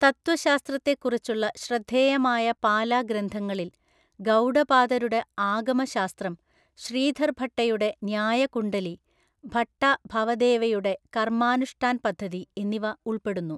തത്വശാസ്ത്രത്തെക്കുറിച്ചുള്ള ശ്രദ്ധേയമായ പാല ഗ്രന്ഥങ്ങളിൽ ഗൗഡപാദരുടെ ആഗമശാസ്ത്രം, ശ്രീധർ ഭട്ടയുടെ ന്യായ കുണ്ഡലി, ഭട്ട ഭവദേവയുടെ കർമാനുഷ്ഠാൻ പദ്ധതി എന്നിവ ഉൾപ്പെടുന്നു.